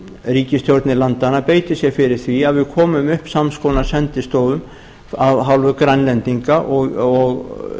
ríkisstjórnir landanna beiti sér fyrir því að við komum upp sams konar sendistofu af hálfu grænlendinga